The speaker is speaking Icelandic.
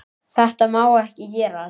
Þetta má ekki gerast.